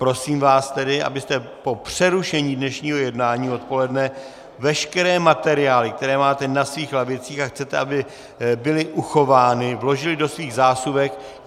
Prosím vás tedy, abyste po přerušení dnešního jednání odpoledne veškeré materiály, které máte na svých lavicích, a chcete, aby byly uchovány, vložili do svých zásuvek.